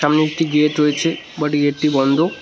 সামনে একটি গেট রয়েছে বাট গেটটি বন্ধ।